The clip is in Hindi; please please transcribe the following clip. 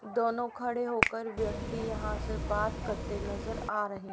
दोनों खड़े होकर व्यक्ति यहां से बात करते नजर आ रहे--